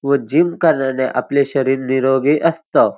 व जिम करण्याने आपलं शरीर निरोगी असतं.